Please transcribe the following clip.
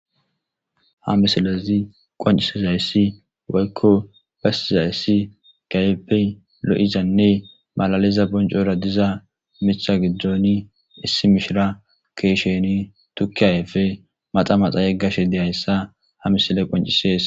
Ha misilezi qoncisizayssi waykko basizayssi gaybey lo'izanne malaliza boncora diza mitha giddzooni issi mishira keesheni tukkiyayefe maxa maxa yeggashe deyayssa ha misile qoncisees.